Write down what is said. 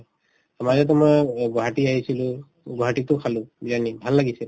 মাজতে মই অ গুৱাহাটী আহিছিলো গুৱাহাটীতো খালো বিৰিয়ানী ভাল লাগিছে